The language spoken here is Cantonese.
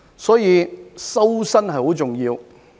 所以，"修身"很重要。